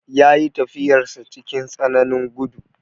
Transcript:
Ya yi tafiyarsa cikin tsananin gudu.